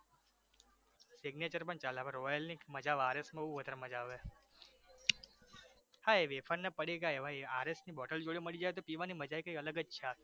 signature પણ ચાલે આપણે royal ની મજા આવે RS ની બહુ વધારે મજા આવે ખાય એવી પન પડિકા એવાયે RSbottle જોડે મળી જાય તો પીવાની મજા કઈંક અલગ જ છે આખી